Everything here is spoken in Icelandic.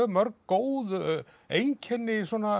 mörg góð einkenni svona